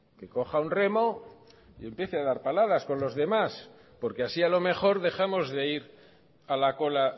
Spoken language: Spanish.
y empiece a dar paladas con los demás porque así a lo mejor dejamos de ir a la cola